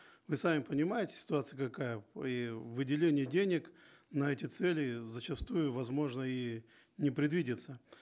вы сами понимаете ситуация какая и выделение денег на эти цели зачастую возможно и не предвидится